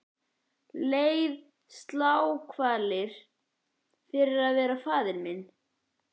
Leið sálarkvalir fyrir að vera faðir minn.